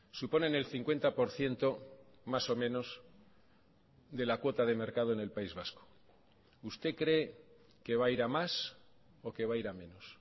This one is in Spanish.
suponen el cincuenta por ciento más o menos de la cuota de mercado en el país vasco usted cree que va a ir a más o que va a ir a menos